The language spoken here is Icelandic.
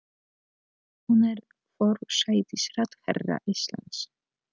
Hún er forsætisráðherra Íslands.